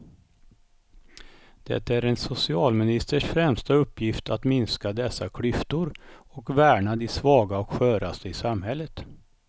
Det är en socialministers främsta uppgift att minska dessa klyftor och värna de svaga och sköraste i samhället.